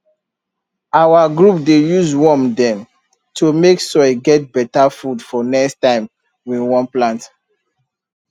our group dey use worm dem to make soil get better food for next time we wan plant